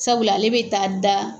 Sabula, ale bɛ taa da.